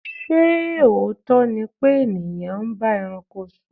Ṣé òótọ́ ni pé ènìyàn ń bá ẹranko sùn?